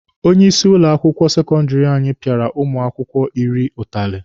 Onye isi ụlọ akwụkwọ sekọndịrị anyị pịara ụmụ akwụkwọ iri ụtalị.